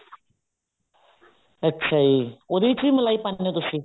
ਅੱਛਾ ਜੀ ਉਹਦੇ ਵਿੱਚ ਵ ਮਲਾਈ ਪਾਉਂਦੇ ਹੋ ਤੁਸੀਂ